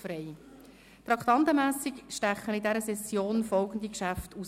Unter den Traktanden sind in dieser Session folgende Geschäfte hervorzuheben: